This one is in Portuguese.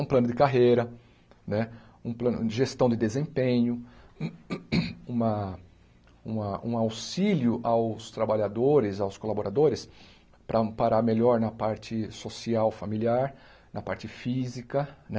um plano de carreira né, um plano de gestão de desempenho, uma uma um auxílio aos trabalhadores, aos colaboradores para amparar melhor na parte social, familiar, na parte física né.